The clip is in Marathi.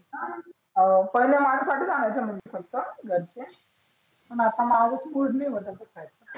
हा पहीले फक्त घरचे पण आता माझाच मुड नाही तसा खायचा.